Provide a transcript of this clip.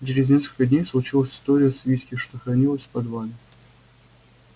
через несколько дней случилась история с виски что хранилось в подвале